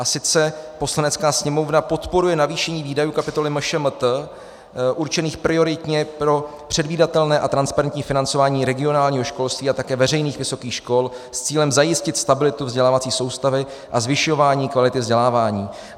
A sice: "Poslanecká sněmovna podporuje navýšení výdajů kapitoly MŠMT určených prioritně pro předvídatelné a transparentní financování regionálního školství a také veřejných vysokých škol s cílem zajistit stabilitu vzdělávací soustavy a zvyšování kvality vzdělávání."